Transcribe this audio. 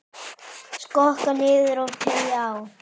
Skokka niður og teygja á.